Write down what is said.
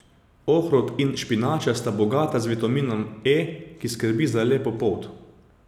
Ohrovt in špinača sta bogata z vitaminom E, ki skrbi za lepo polt.